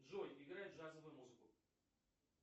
джой играй джазовую музыку